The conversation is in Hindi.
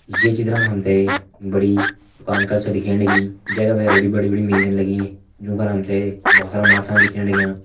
ये चित्र मा हमते बड़ी दुकान कर छा दिखेण लगीं जैका भैर बिटि बड़ी बड़ी मेजन लगीं जूं फर हमते भोत सारा माछान दिखेण लगयां।